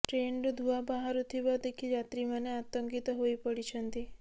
ଟ୍ରେନ୍ରୁ ଧୂଆଁ ବାହାରୁଥିବା ଦେଖି ଯାତ୍ରୀ ମାନେ ଆତଙ୍କିତ ହୋଇ ପଡିଛନ୍ତି